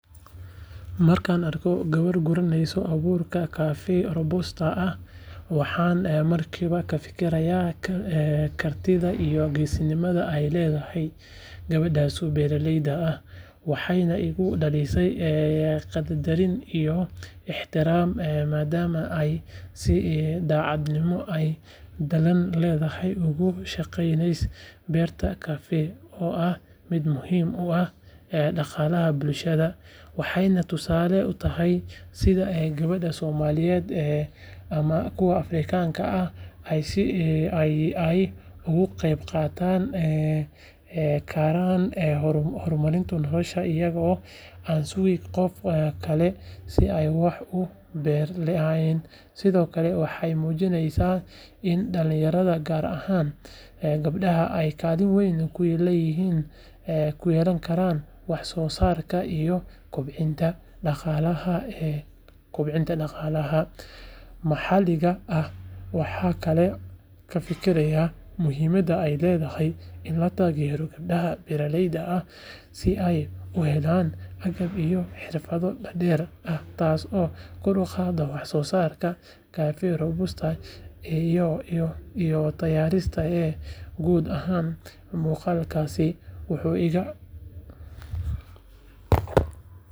Markaan arko gabar guraysa abuurka kafee robusta ah waxaan markiiba ka fikirayaa kartida iyo geesinimada ay leedahay gabadhaas beeraleyda ah waxayna igu dhalisaa qadarin iyo ixtiraam maadaama ay si daacadnimo iyo dadaal leh uga shaqeyneyso beerta kafee oo ah mid muhiim u ah dhaqaalaha bulshada waxayna tusaale u tahay sida gabdhaha Soomaaliyeed ama kuwa Afrikaanka ah ay uga qeyb qaadan karaan horumarinta nolosha iyagoo aan sugin qof kale si ay wax u beddelaan sidoo kale waxay muujinaysaa in dhalinyarada gaar ahaan gabdhaha ay kaalin weyn ku yeelan karaan wax soo saarka iyo kobcinta dhaqaalaha maxalliga ah waxaan kaloo ka fikirayaa muhiimadda ay leedahay in la taageero gabdhaha beeraleyda ah si ay u helaan agab iyo xirfado dheeraad ah taasoo kor u qaadaysa wax soo saarka kafee robusta iyo tayadiisa guud ahaan muuqaalkaas.